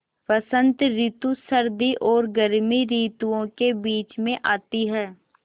बसंत रितु सर्दी और गर्मी रितुवो के बीच मे आती हैँ